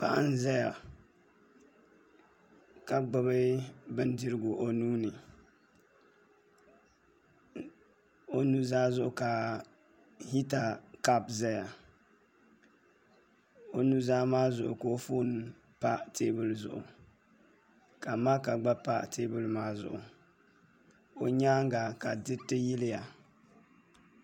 Paɣi n zaya ka gbubi bindirigu o nuuni o nu zaa ka hita kapu zaya o nu zaa zuɣu ka o foon pa teebuli zuɣu ka maaka gba pa teebuli zuɣu